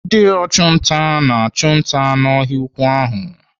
Ndị ọchụnta na-achụ nta n'ọhịa ukwuu ahụ.